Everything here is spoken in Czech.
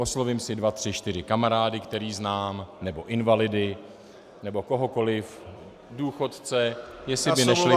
Oslovím si dva, tři, čtyři kamarády, které znám, nebo invalidy nebo kohokoli, důchodce, jestli by nešli pracovat -